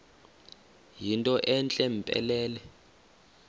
yinto entle mpelele